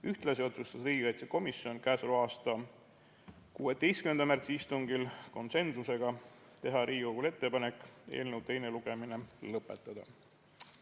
Ühtlasi otsustas riigikaitsekomisjon 16. märtsi istungil konsensusega teha Riigikogule ettepanek eelnõu teine lugemine lõpetada.